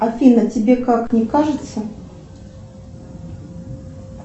афина тебе как не кажется